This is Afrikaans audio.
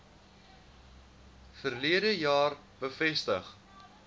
verlede jaar bevestig